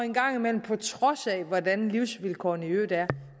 en gang imellem på trods af hvordan livsvilkårene i øvrigt er